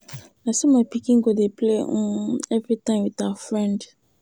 Na so my pikin go dey play um um everytime with her friend.